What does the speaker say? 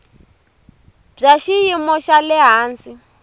bya xiyimo xa le hansi